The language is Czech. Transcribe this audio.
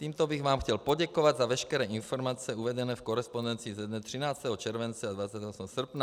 Tímto bych vám chtěl poděkovat za veškeré informace uvedené v korespondenci ze dne 13. července a 28. srpna.